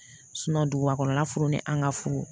duguba kɔnɔna fur ni an ka furu